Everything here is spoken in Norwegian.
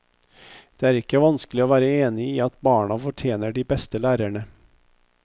Det er ikke vanskelig å være enig i at barna fortjener de beste lærerne.